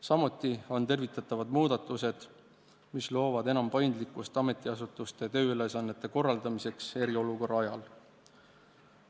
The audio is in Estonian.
Samuti on tervitatavad need muudatused, mis lisavad paindlikkust ametiasutuste tööülesannete korraldamisse eriolukorra ajal.